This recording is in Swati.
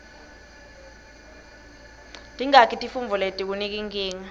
tingaki tifuntfo letikunika nkinga